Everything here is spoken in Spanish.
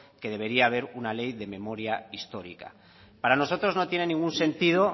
que debería haber una ley de memoria histórica para nosotros no tiene ningún sentido